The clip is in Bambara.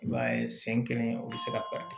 I b'a ye sen kelen o be se ka